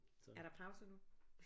Er der pause nu